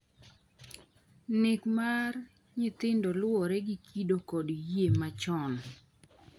Nek mar nyithindo luwore gi kido kod yie machon.